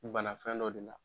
bana fɛn dɔ de la.